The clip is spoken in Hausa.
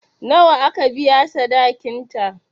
Nawa aka biya sadakin ta?